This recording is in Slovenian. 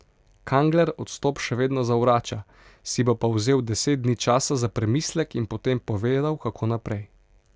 Kangler odstop še vedno zavrača, si bo pa vzel deset dni časa za premislek in potem povedal, kako naprej.